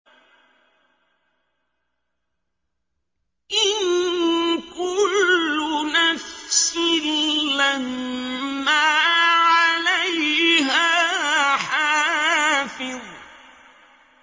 إِن كُلُّ نَفْسٍ لَّمَّا عَلَيْهَا حَافِظٌ